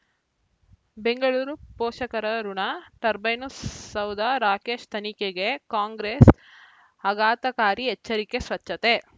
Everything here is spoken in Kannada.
ಬೆಂಗಳೂರು ಪೋಷಕರಋಣ ಟರ್ಬೈನು ಸೌಧ ರಾಕೇಶ್ ತನಿಖೆಗೆ ಕಾಂಗ್ರೆಸ್ ಆಘಾತಕಾರಿ ಎಚ್ಚರಿಕೆ ಸ್ವಚ್ಛತೆ